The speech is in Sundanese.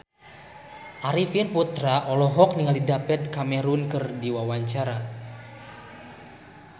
Arifin Putra olohok ningali David Cameron keur diwawancara